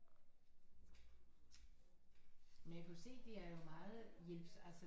Men jeg kan jo se det er jo meget hjælp altså